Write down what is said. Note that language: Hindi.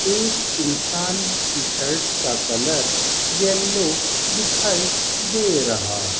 एक इंसान की शर्ट का कलर येलो दिखाई दे रहा --